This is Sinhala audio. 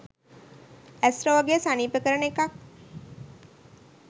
ඇස් රෝගය සනීප කරන එකක්.